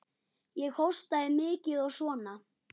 Ég hóstaði mikið og svona.